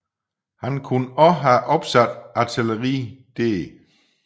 Han kunne også have opsat artilleri der